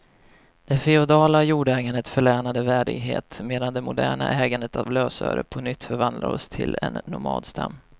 Det feodala jordägandet förlänade värdighet, medan det moderna ägandet av lösöre på nytt förvandlar oss till en nomadstam.